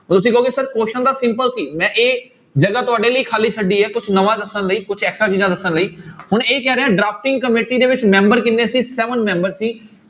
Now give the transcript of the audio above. ਤੁਸੀਂ ਕਹੋਗੇ sir question ਤਾਂ simple ਸੀ ਮੈਂ ਇਹ ਜਗ੍ਹਾ ਤੁਹਾਡੇ ਲਈ ਖਾਲੀ ਛੱਡੀ ਹੈ ਕੁਛ ਨਵਾਂ ਦੱਸਣ ਲਈ ਕੁਛ extra ਚੀਜ਼ਾਂ ਦੱਸਣ ਲਈ ਹੁਣ ਇਹ ਕਹਿ ਰਿਹਾ drafting ਕਮੇਟੀ ਦੇ ਵਿੱਚ ਮੈਂਬਰ ਕਿੰਨੇ ਸੀ seven ਮੈਂਬਰ ਸੀ।